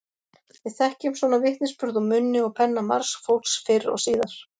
Við þekkjum svona vitnisburð úr munni og penna margs fólks fyrr og síðar.